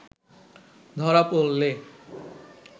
ধরা পড়লে